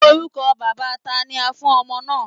Orúkọ bàbáa tani a fún ọmọ náà?